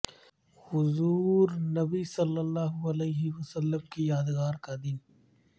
حضور نبی صلی اللہ علیہ وسلم کی یادگار کا دن